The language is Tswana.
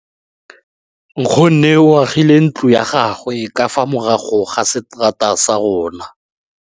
Nkgonne o agile ntlo ya gagwe ka fa morago ga seterata sa rona.